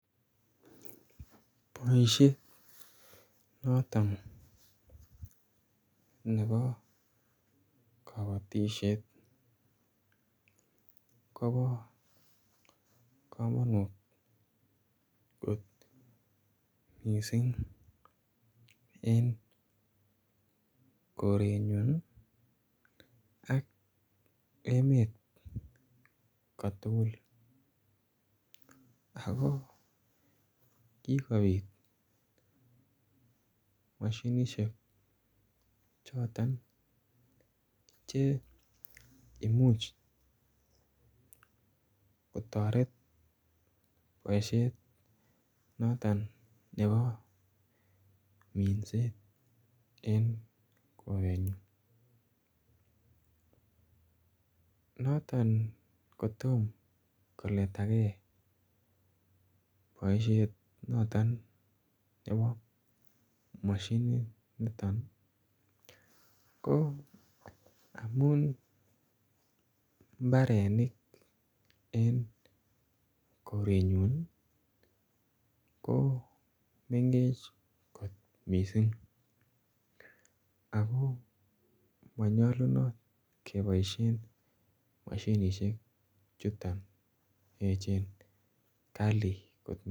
Boisie notoon nebo kabatisyeet koba kamanut koot missing en koreet nyuun ak emeet ko tugul ako kikobiit mashinisheek chotoon che imuuch kotaret boisiet notoon nebo minset eng koret nyuun notoon kotom koleta gei boisiet notoon nebo mashiniit nitoon ko amuun mbarenik eng korenyuun ko mengech missing ako manyalunaat kebaisheen mashinisheek chutoon eecheen kali.